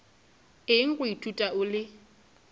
eng go ithuta o le